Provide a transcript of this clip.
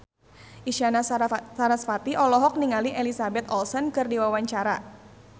Isyana Sarasvati olohok ningali Elizabeth Olsen keur diwawancara